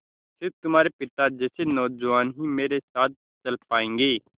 स़िर्फ तुम्हारे पिता जैसे नौजवान ही मेरे साथ चल पायेंगे